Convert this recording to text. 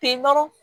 Pe dɔrɔn